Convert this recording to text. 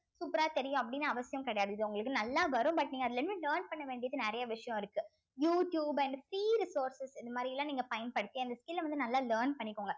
super ஆ தெரியும் அப்படின்னு அவசியம் கிடையாது இது உங்களுக்கு நல்லா வரும் but நீங்க அதுல இருந்து learn பண்ண வேண்டியது நிறைய விஷயம் இருக்கு யூ டியூப் and இந்தமாரி எல்லாம் நீங்க பயன்படுத்தி அந்த skill அ வந்து நல்லா learn பண்ணிக்கோங்க